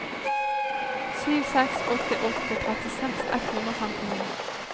sju seks åtte åtte trettiseks ett hundre og femtini